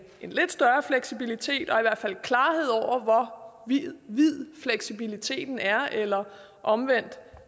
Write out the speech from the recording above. en lidt større fleksibilitet og i hvert fald klarhed over hvor vid fleksibiliteten er eller omvendt